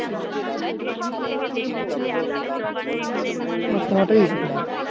আমার আমার ছোঁয়াটাই উচিত হয়.